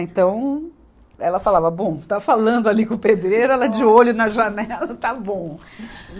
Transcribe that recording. Então, ela falava, bom, está falando ali com o pedreiro, ela de olho na janela, está bom.